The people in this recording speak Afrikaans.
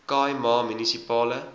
khai ma munisipale